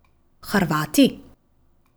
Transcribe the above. Hrvati?